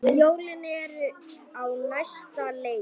Jólin eru á næsta leiti.